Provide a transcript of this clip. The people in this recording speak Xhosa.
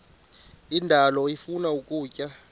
indalo ifuna ukutya